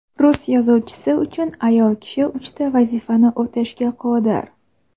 Rus yozuvchisi uchun ayol kishi uchta vazifani o‘tashga qodir.